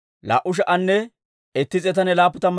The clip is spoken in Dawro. Shafaas'iyaa yaratuu 372.